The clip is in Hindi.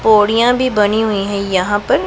बोरियां भी बनी हुईं हैं यहां पर।